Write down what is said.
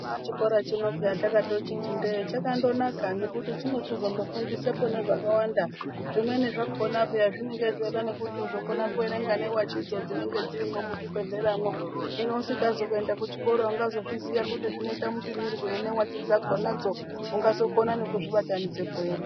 Chana chikoracho peya takando chiti ndee chakando naka nekuti chinochizondofundisepo zvakandawanda zvimweni zvakona peya zvinonga zvechida nekuti uzokona kuverenga nevachidzo chinenge dzirimwo muchibhedhleramwo. Hino usikazi kuenda kuenda kuchikora ungazozviziva kuti zvinoita mupimirwei nevachi dzakonadzo unozoita nekukona nekuzvibatanidza ere.